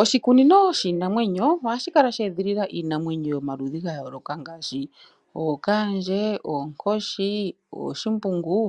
Oshikunino shiinamwenyo ohashi kala she edhilila iinamwenyo yomaludhi gayooloka ngaashi ookaandje, oonkoshi ,ooshimbungu